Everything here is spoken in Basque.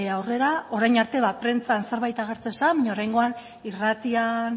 aurrera orain arte prentsan zerbait agertzen zen baina oraingoan irratian